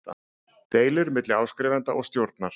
deilur milli áskrifanda og stjórnar.